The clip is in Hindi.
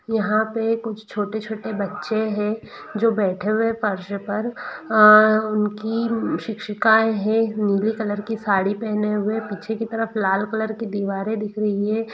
यहाँ पे कुछ छोटे-छोटे बच्चे हैं जो बैठे है फर्श पर बैठे हुए उनकी शिक्षिकाएं दिख रही है नीली रंग की तरफ लाल दीवार है एक बच्ची के साथ गमला ही हुआ है पीछे जालियां है और चैनल गेट है।